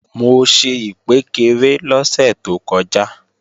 Mo ṣe ìkpékeré lọ́sẹ̀ tó kọjá